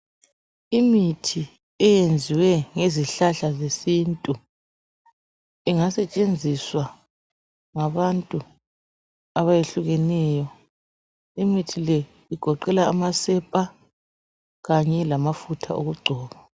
Imithi eyenziwe ngezihlahla zesintu ingasetshenziswa ngabantu abayehlukeneyo imithi le igoqela amasepa kanye lamafutha okugcoba.